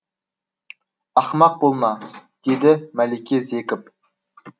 ақымақ болма деді мәлике зекіп